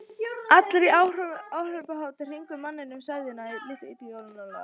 Allir í áhorfendahópnum í kringum manninn með sveðjuna litu illilega á Jón Ólaf.